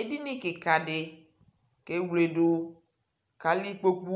edini kikadɩ kʊ ewledu, kʊ alɛ ikpoku,